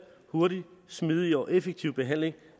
hurtig smidig og effektiv behandling